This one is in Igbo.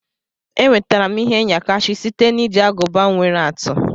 Enwetara m ihe nyakashi site na iji aguba nwere atụ.